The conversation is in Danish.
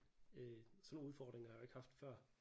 Øh sådan nogle udfordringer har jeg jo ikke haft før